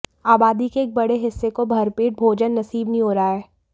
आबादी के एक बड़े हिस्से को भरपेट भोजन नसीब नहीं हो रहा है